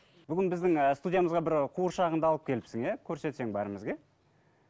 бүгін біздің ы студиямызға бір қуыршағыңды алып келіпсің иә көрсетсең бәрімізге иә